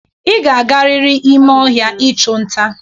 Ị ga-agarịrị ime ọhịa ịchụ nta.